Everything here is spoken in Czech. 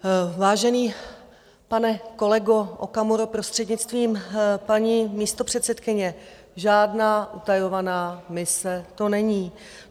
Vážený, pane kolego Okamuro, prostřednictvím paní místopředsedkyně: žádná utajovaná mise to není.